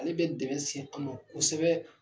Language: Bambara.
Ale bɛ dɛmɛ se an ma kosɛbɛ.